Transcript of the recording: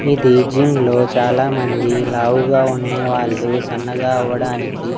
ఇది జిమ్లో చాలామంది లావుగా ఉన్నే వాళ్లు సన్నగా అవ్వడానికి.